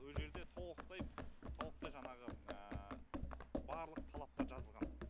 о жерде толықтай толықтай жаңағы барлық талаптар жазылған